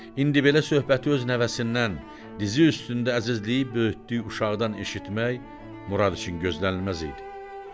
İndi belə söhbəti öz nəvəsindən, dizi üstündə əzizləyib böyütdüyü uşaqdan eşitmək Murad üçün gözlənilməz idi.